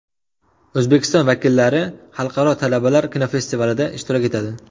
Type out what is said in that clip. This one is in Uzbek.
O‘zbekiston vakillari Xalqaro talabalar kinofestivalida ishtirok etadi.